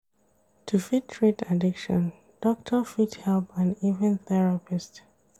To fit treat addiction, doctor fit help and even therapist